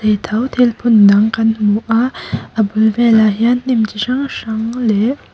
ni tho thil phun dang kan hmu a a bul velah hian hnim chi hrang hrang leh--